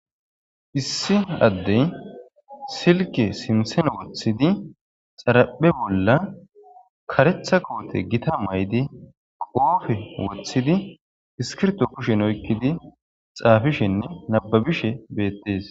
Issi addey silke simsene woththidi xaraphe bolla karetha koote gita maydi qoofe woththidi iskirto kushen oykkidi xaafishenne nababishe beettees